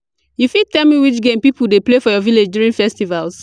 you fit tell me which game people dey play for your village during festivals?